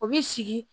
O bi sigi